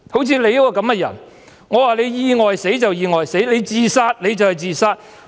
像你這樣的人，說你意外死你就意外死，說你是自殺你就是自殺。